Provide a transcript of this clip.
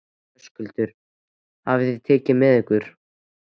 Höskuldur: Hvað takið þið með ykkur?